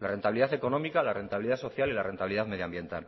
la rentabilidad económica la rentabilidad social y la rentabilidad medioambiental